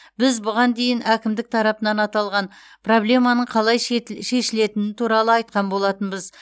біз бұған дейін әкімдік тарапынан аталған проблеманың қалай шет шешілетіні туралы айтқан болатынбыз